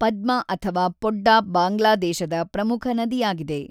ಪದ್ಮ ಅಥವಾ ಪೊಡ್ಡಾ ಬಾಂಗ್ಲಾದೇಶದ ಪ್ರಮುಖ ನದಿಯಾಗಿದೆ.